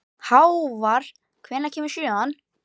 Hávar, hvenær kemur sjöan?